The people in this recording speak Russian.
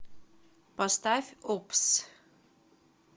поставь оппс